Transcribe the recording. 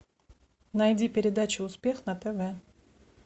найди передачу успех на тв